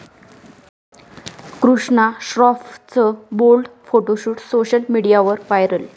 कृष्णा श्रॉफचं bold photoshoot social मीडियावर viral